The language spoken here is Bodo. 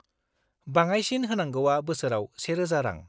बङाइसिन होनांगौआ बोसोराव 1000 रां।